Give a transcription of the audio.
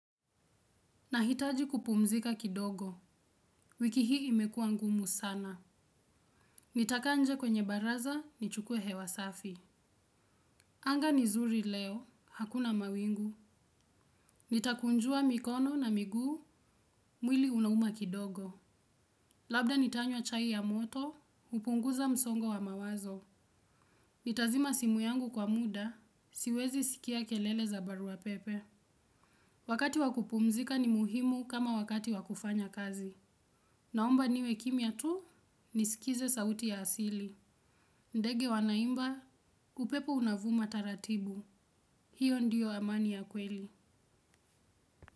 Nahitaji kupumzika kidogo, wiki hii imekuwa ngumu sana. Nitakaa nje kwenye baraza, nichukue hewa safi. Anga ni zuri leo, hakuna mawingu. Nitakunjua mikono na miguu, mwili unauma kidogo. Labda nitanywa chai ya moto, kupunguza msongo wa mawazo. Nitazima simu yangu kwa muda, siwezi sikia kelele za barua pepe. Wakati wakupumzika ni muhimu kama wakati wakufanya kazi. Naomba niwe kimya tu, nisikize sauti ya asili. Ndege wanaimba, upepo unavuma taratibu. Hiyo ndiyo amani ya kweli.